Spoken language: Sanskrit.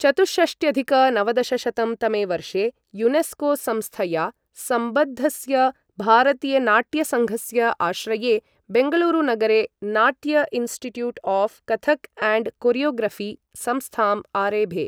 चतुःषष्ट्यधिक नवदशशतं तमे वर्षे, यूनेस्को संस्थया सम्बद्धस्य भारतीयनाट्यसङ्घस्य आश्रये, बेङ्गलूरुनगरे, Natya institute of Kathak and choreography संस्थाम् आरेभे।